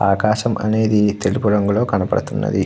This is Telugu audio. ఆకాశం అనేది తెలుపు రంగు లో కనపడుతున్నది.